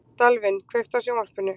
Dalvin, kveiktu á sjónvarpinu.